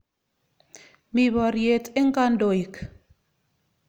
Mi poryet eng' kandoik.